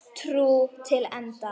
Trú til enda.